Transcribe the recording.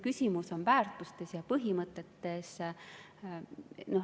Küsimus on väärtustes ja põhimõtetes.